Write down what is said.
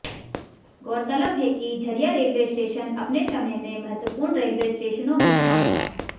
गौरतलब है कि झरिया रेलवे स्टेशन अपने समय में महत्त्वपूर्ण रेलवे स्टेशनों में शुमार था